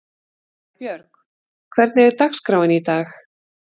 Sæbjörg, hvernig er dagskráin í dag?